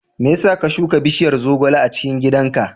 Me yasa ka shuka bishiyar zogale a cikin gidan ka?